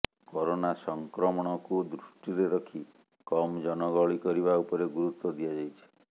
corona ସଂକ୍ରମଣକୁ ଦୃଷ୍ଟିରେ ରଖି କମ ଜନଗହଳି କରିବା ଉପରେ ଗୁରୁତ୍ୱ ଦିଆଯାଇଛି